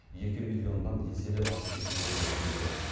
екі миллионнан еселеп асып кетуі бек мүмкін